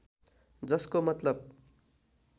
जसको मतलब